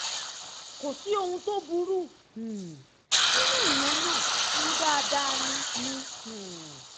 kò sí ohun tó burú um nínú ìyẹn náà ọ̀hún dáadáa ni ni um